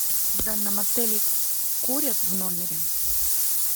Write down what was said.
в данном отеле курят в номере